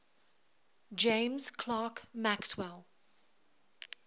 james clerk maxwell